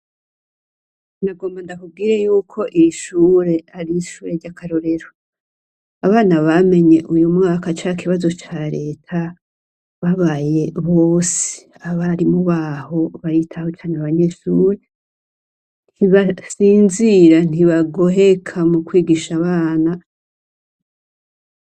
Nagomba ndakubwire y'uko ishure ari ishure ry'akarorero abana bamenye uyo mwaka ca kibazo ca leta babaye bose abari mu baho baritaho cane abanyeshure ntibasinzira, ntibagoheka mu kwigisha abana.